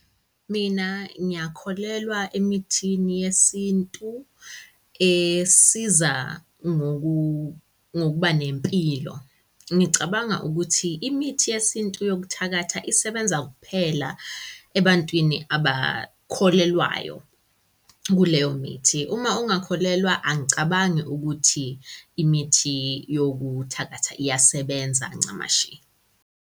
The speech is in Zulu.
Mina ngiyakholelwa emithini yesintu esiza ngokuba nempilo. Ngicabanga ukuthi imithi yesintu yokuthakatha isebenza kuphela ebantwini abakholelwayo kuleyo mithi. Uma ungakholelwa, angicabangi ukuthi imithi yokuthakatha iyasebenza ncamashi.